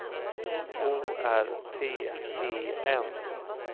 O R T E N